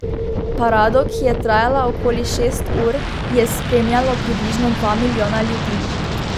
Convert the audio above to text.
Parado, ki je trajala okoli šest ur, je spremljalo približno dva milijona ljudi.